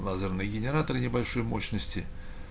лазерный генератор небольшой мощности